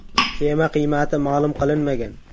Kema qiymati ma’lum qilinmagan.